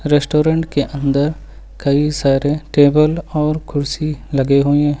Restaurant के अंदर कई सारे टेबल और कुर्सी लगे हुए हैं।